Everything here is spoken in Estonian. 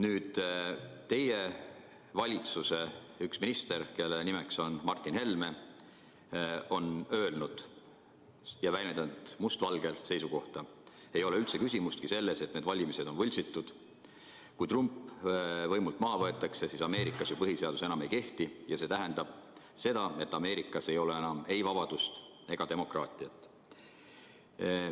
Aga teie valitsuse minister, kelle nimi on Martin Helme, on öelnud ja väljendanud must valgel seisukohta: ei ole üldse küsimustki selles, et need valimised on võltsitud, ja kui Trump võimult maha võetakse, siis Ameerikas põhiseadus enam ei kehti ja see tähendab seda, et Ameerikas ei ole enam ei vabadust ega demokraatiat.